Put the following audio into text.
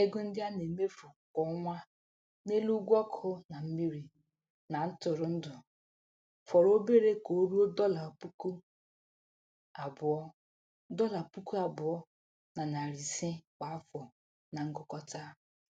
Ego ndị a na-emefu kwa ọnwa n'elu ụgwọ ọkụ na mmiri na ntụrụndụ fọrọ obere ka ruo dọla puku abụọ dọla puku abụọ na narị ise kwa afọ na ngụkọta.